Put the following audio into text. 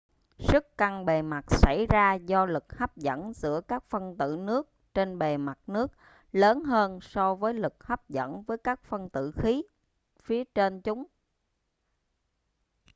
sức căng bề mặt xảy ra do lực hấp dẫn giữa các phân tử nước trên bề mặt nước lớn hơn so với lực hấp dẫn với các phân tử khí phía trên chúng